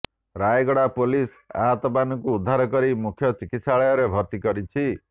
Rayagada police ଆହତମାନଙ୍କୁ ଉଦ୍ଧାର କରି ମୁଖ୍ୟ ଚିକିତ୍ସାଳୟରେ ଭର୍ତ୍ତି କରିଛି